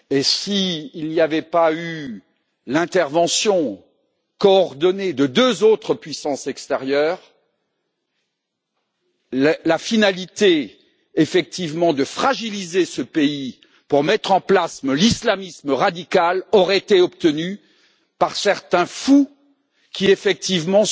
S'il n'y avait pas eu l'intervention coordonnée de deux autres puissances extérieures, la finalité de fragiliser ce pays pour mettre en place l'islamisme radical aurait été obtenue par certains fous qui, effectivement,